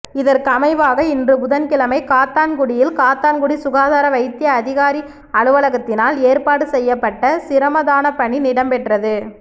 இதற்கமைவாக இன்று புதன்கிழமை காத்தான்குடியில் காத்தான்குடி சுகாதார வைத்திய அதிகாரி அலுவலகத்தினால் ஏற்பாடு செய்யப்பட்ட சிரமதானப்பணி இடம்பெற்றது